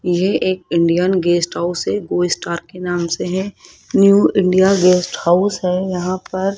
यह एक Indian guest house है गो स्टार के नाम से है न्यू इंडिया गेस्ट हाउस है यहां पर--